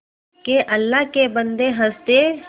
के अल्लाह के बन्दे हंस दे